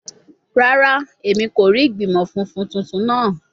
Rara, Emi ko rii igbimọ funfun tuntun naa